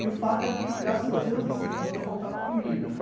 E o fato é que, graças a Deus, assim, não faltava comida, né?